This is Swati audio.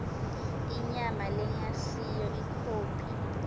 inyama lengasiyo ikhophi